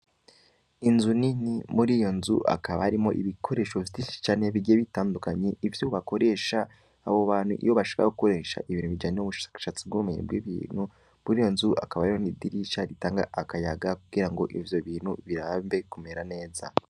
Inzu nini muriyo nzu hakaba harimwo ibikoresho vyinshi cane bigiye bitandukanye, ivyo bakoresha abo bantu iyo bashaka gukoresha ibintu bijanye n'ubushakashatsi bw'ubumenyi bw'ibintu muriyo nzu hakaba hariho n'idirisha ritanga akayaga kugirango ivyo bintu birambe kumera neza.